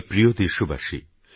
আমারপ্রিয়দেশবাসী